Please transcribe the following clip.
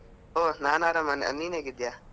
ಹೋ ನಾನು ಆರಾಮ, ನಿನ್ ಹೇಗಿದ್ದೀಯಾ?